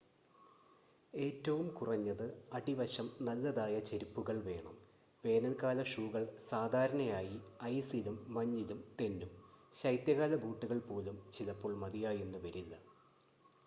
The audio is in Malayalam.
ഏറ്റവും കുറഞ്ഞത് അടിവശം നല്ലതായ ചെരിപ്പുകൾ വേണം വേനൽക്കാല ഷൂകൾ സാധാരണയായി ഐസിലും മഞ്ഞിലും തെന്നും ശൈത്യകാല ബൂട്ടുകൾ പോലും ചിലപ്പോൾ മതിയായെന്ന് വരില്ല